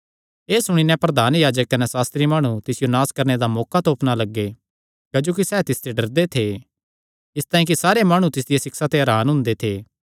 एह़ सुणी नैं प्रधान याजक कने सास्त्री माणु तिसियो नास करणे दा मौका तोपणा लग्गे क्जोकि सैह़ तिसते डरदे थे इसतांई कि सारे माणु तिसदिया सिक्षा ते हरान हुंदे थे